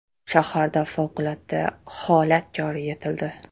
Shaharda favqulodda holat joriy etildi .